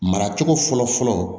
Mara cogo fɔlɔ fɔlɔ